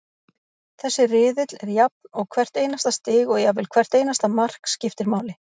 Þessi riðill er jafn og hvert einasta stig og jafnvel hvert einasta mark, skiptir máli.